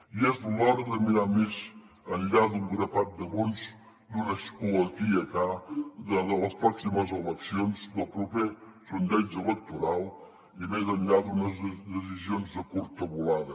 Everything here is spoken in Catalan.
i és l’hora de mirar més enllà d’un grapat de vots d’un escó aquí i acá de les pròximes eleccions del proper sondeig electoral i més enllà d’unes decisions de curta volada